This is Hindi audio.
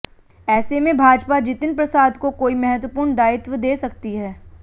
ऐसे में भाजपा जितिन प्रसाद को कोई महत्वपूर्ण दायित्व दे सकती है